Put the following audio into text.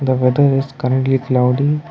the weather is currently cloudy.